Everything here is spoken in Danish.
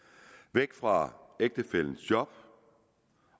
væk fra ægtefællens job